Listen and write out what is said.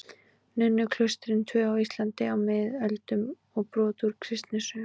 Nunnuklaustrin tvö á Íslandi á miðöldum og brot úr kristnisögu.